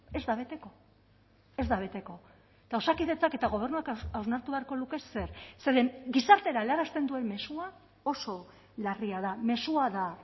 ez da beteko ez da beteko eta osakidetzak eta gobernuak hausnartu beharko luke zer zeren gizartera helarazten duen mezua oso larria da mezua da